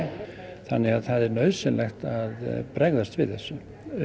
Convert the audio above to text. þannig að það er nauðsynlegt að bregðast við þessu